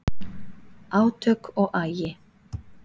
Átök og agi